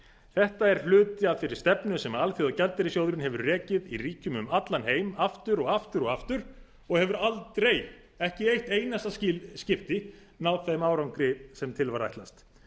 þetta er hluti af þeirri stefnu sem alþjóðagjaldeyrissjóðurinn hefur rekið í ríkjum um allan heim aftur og aftur og aftur og hefur aldrei ekki eitt einasta skipti náð þeim árangri sem til var ætlast